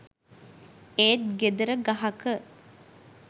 ඒත් ගෙදර ගහක